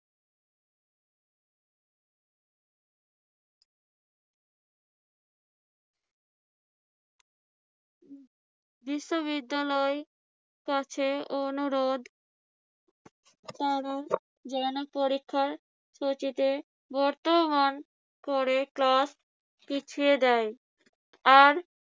বিশ্ববিদ্যালয়ের কাছে অনুরোধ তারা যেন পরীক্ষাসূচিতে বর্তমান করে class পিছিয়ে দেয়। আর